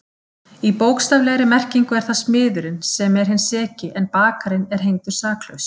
Í bókstaflegri merkingu er það smiðurinn sem er hinn seki en bakarinn er hengdur saklaus.